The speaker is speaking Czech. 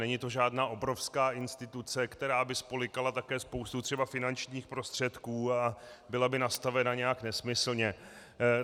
Není to žádná obrovská instituce, která by spolykala také spoustu třeba finančních prostředků a byla by nastavena nějak nesmyslně.